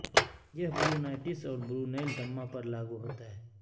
یہ برونائٹس اور برونیل دمہ پر لاگو ہوتا ہے